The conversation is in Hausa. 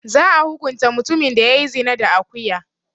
Za'a hukunta mutumin da ya yi zina da akuya.